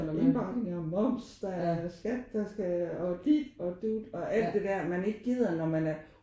Der er indbakken og moms der er skat der skal og dit og dut og alt det der man ikke gider når man er